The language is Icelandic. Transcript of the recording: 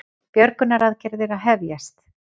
Björgunaraðgerðir að hefjast